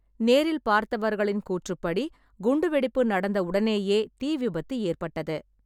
நேரில் பார்த்தவர்களின் கூற்றுப்படி, குண்டுவெடிப்பு நடந்த உடனேயே தீ விபத்து ஏற்பட்டது.